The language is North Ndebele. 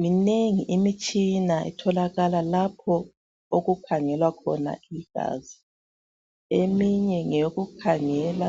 Minengi imitshina etholakala lapho okukhangelwa khona igazi eminye ngeyokukhangela